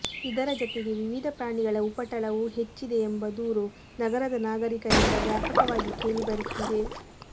ಇದರ ಜತೆಗೆ ವಿವಿಧ ಪ್ರಾಣಿಗಳ ಉಪಟಳವೂ ಹೆಚ್ಚಿದೆ ಎಂಬ ದೂರು ನಗರದ ನಾಗರಿಕರಿಂದ ವ್ಯಾಪಕವಾಗಿ ಕೇಳಿ ಬರುತ್ತಿದೆ